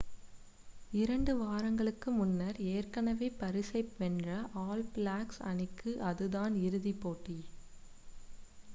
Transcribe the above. இரண்டு வாரங்களுக்கு முன்னர் ஏற்கனவே பரிசை வென்ற ஆல் பிளாக்ஸ் அணிக்கு அதுதான் இறுதி போட்டி